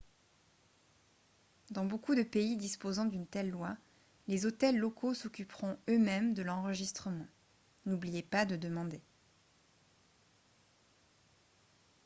dans beaucoup de pays disposant d'une telle loi les hôtels locaux s'occuperont eux-mêmes de l'enregistrement n'oubliez pas de demander